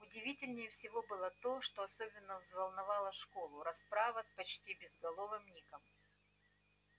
удивительнее всего было то что особенно взволновала школу расправа с почти безголовым ником